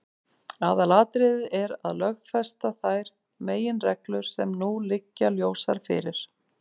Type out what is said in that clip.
Aðalatriðið er að lögfesta þær meginreglur sem nú liggja ljósar fyrir.